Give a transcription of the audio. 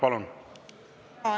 Palun!